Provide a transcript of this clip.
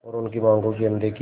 और उनकी मांगों की अनदेखी